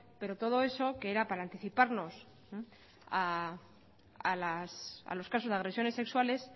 pero todo eso que era para anticiparnos a los casos de agresiones sexuales